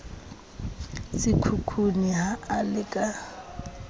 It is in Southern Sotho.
sekgukguni ha a le ka